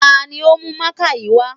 Ta ni ò ní ó mú mákà yìí wá?